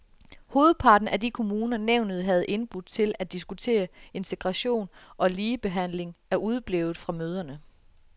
Hovedparten af de kommuner, nævnet havde indbudt til at diskutere integration og ligebehandling, er udeblevet fra møderne.